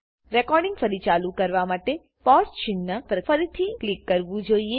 recording ફરી ચાલુ કરવા માટે પોઝ ચિન્હ પર ફરીથી ક્લિક કરવું જોઈએ